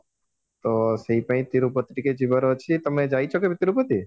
ତ ସେଇପାଇଁ ତିରୁପତି ଯିବାର ଅଛି ତମେ ଯାଇଛ କେବେ ତିରୁପତି